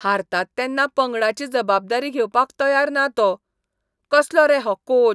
हारतात तेन्ना पंगडाची जबाबदारी घेवपाक तयार ना तो, कसलो रे हो कोच!